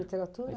Literatura?